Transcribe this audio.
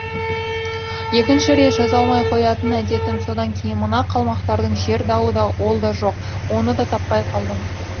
екінші рет жаза алмай қоятын әдетім содан кейін мына қалмақтардың жер дауы да ол да жоқ оны да таппай қалдым